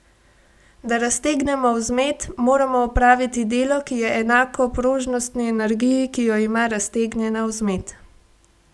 Da raztegnemo vzmet, moramo opraviti delo, ki je enako prožnostni energiji, ki jo ima raztegnjena vzmet.